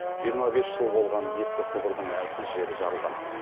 жиырма бес жыл болған ескі құбырдың әлсіз жері жарылған